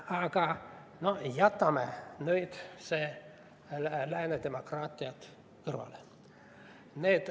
Aga jätame nüüd lääne demokraatiad kõrvale.